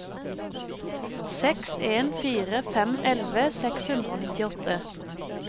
seks en fire fem elleve seks hundre og nittiåtte